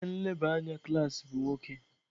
Ihe nleba anya klaasị bụ nwoke.